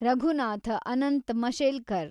Raghunath Anant Mashelkar